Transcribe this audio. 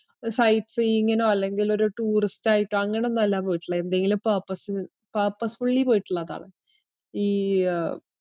ഒരു sightseeing നോ അല്ലെങ്കില് ഒരു tourist ആയിട്ടോ അങ്ങനൊന്നല്ലാ പോയിട്ടുള്ളെ. എന്തെങ്കിലും purpose ന് purposefully പോയിട്ടിള്ളതാണ്. ഈ അഹ്